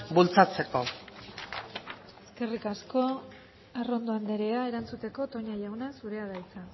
bultzatzeko eskerrik asko arrondo andrea erantzuteko toña jauna zurea da hitza